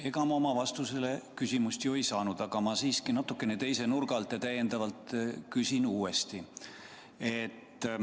Ega ma oma küsimusele vastust ei saanud ning küsin natukene teise nurga alt uuesti.